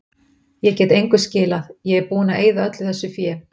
Ég get engu skilað, ég er búinn að eyða öllu þessu fé.